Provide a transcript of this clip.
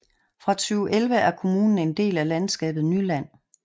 Fra 2011 er kommunen en del af landskabet Nyland